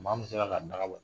Maa min sera k'a daga bɔ